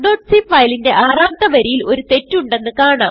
talkസി file ന്റെ ആറാമത്തെ വരിയിൽ ഒരു തെറ്റ് ഉണ്ടെന്ന് കാണാം